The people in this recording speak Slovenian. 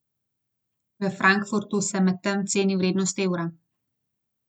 V Frankfurtu se medtem ceni vrednost evra.